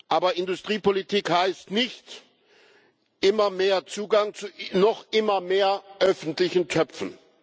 Aber Industriepolitik heißt nicht immer mehr Zugang zu noch immer mehr öffentlichen Töpfen.